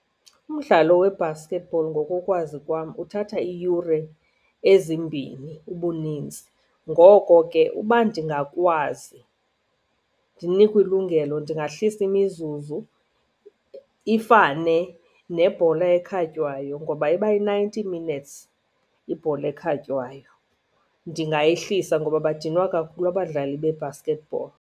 Umdlalo we-basketball ngokokwazi kwam uthatha iiyure ezimbini ubunintsi. Ngoko ke uba ndingakwazi ndinikwe ilungelo ndingahlisa imizuzu, ifane nebhola ekhatywayo ngoba ibayi-ninety minutes ibhola ekhatywayo. Ndingayihlisa ngoba badinwa kakhulu abadlali be-basketball.